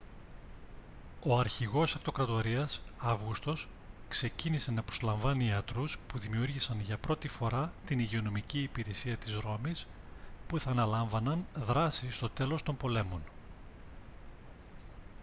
ο αρχηγός της αυτοκρατορίας αύγουστος ξεκίνησε να προσλαμβάνει ιατρούς που δημιούργησαν για πρώτη φορά την υγειονομική υπηρεσία της ρώμης που θα αναλάμβαναν δράση στο τέλος των πολέμων